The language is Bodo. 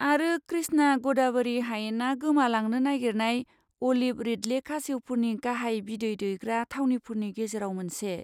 आरो कृष्णा ग'दाबरि हायेनआ गोमालांनो नागिरनाय अलिभ रिडले खासेवफोरनि गाहाय बिदै दैग्रा थावनिफोरनि गेजेराव मोनसे।